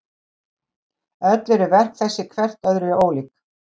Öll eru verk þessi hvert öðru ólík.